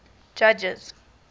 judges